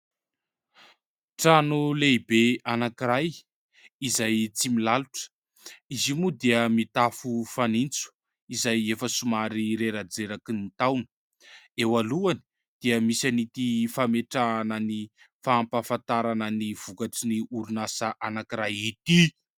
Trano lehibe anankiray izay tsy milalotra ; izy io moa dia mitafo fanintso izay efa somary reradreraky ny taona. Eo alohany dia misy an'ity fametrahana ny fampahafantarana ny vokatry ny orinasa anankiray ity.